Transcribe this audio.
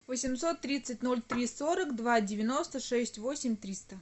восемьсот тридцать ноль три сорок два девяносто шесть восемь триста